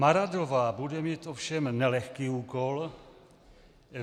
Maradová bude mít ovšem nelehký úkol.